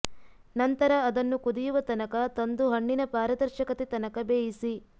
ನಂತರ ಅದನ್ನು ಕುದಿಯುವ ತನಕ ತಂದು ಹಣ್ಣಿನ ಪಾರದರ್ಶಕತೆ ತನಕ ಬೇಯಿಸಿ